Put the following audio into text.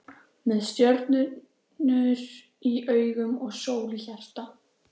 Með stjörnur í augum og sól í hjarta.